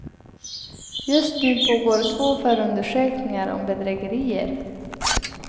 Just nu pågår två förundersökningar om bedrägerier.